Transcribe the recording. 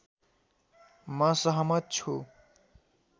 म सहमत छु